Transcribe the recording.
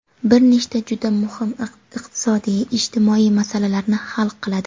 bir nechta juda muhim iqtisodiy-ijtimoiy masalalarni hal qiladi.